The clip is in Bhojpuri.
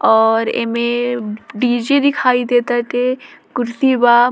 और एमे डी.जे. दिखाई दे टाटे कुर्सी बा।